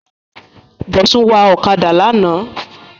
Bọ̀sún wa ọ̀kadà lánàá